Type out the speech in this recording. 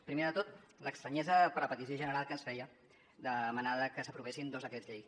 primer de tot l’estranyesa per la petició general que ens feia de demanar que s’aprovessin dos decrets llei